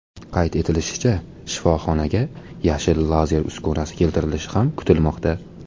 Qayd etilishicha, shifoxonaga yashil lazer uskunasi keltirilishi ham kutilmoqda.